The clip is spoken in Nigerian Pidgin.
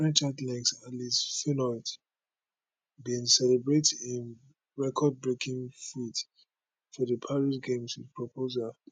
french athlete alice finot bin celebrate im recordbreaking feat for di paris games wit proposal